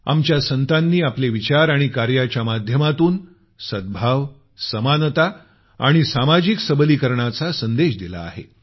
आमच्या संतांनी आपले विचार आणि कार्याच्या माध्यमातून सद्भाव समानता आणि सामाजिक सबलीकरणाचा संदेश दिला आहे